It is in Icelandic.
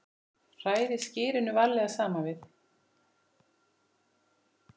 Hrærið skyrinu varlega saman við.